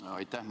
Aitäh!